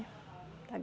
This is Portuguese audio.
Tá